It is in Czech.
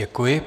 Děkuji.